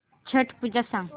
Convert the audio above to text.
छट पूजा सांग